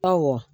Awɔ